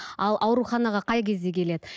ал ауруханаға қай кезде келеді